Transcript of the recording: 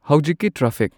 ꯍꯧꯖꯤꯛꯀꯤ ꯇ꯭ꯔꯥꯐꯤꯛ